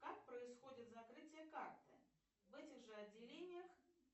как происходит закрытие карты в этих же отделениях